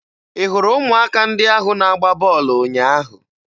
Ị hụrụ ụmụaka ndị ahụ na-agba bọọlụ ụnyaahụ?